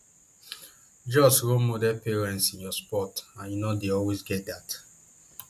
just role model parents in your sport and you no dey always get dat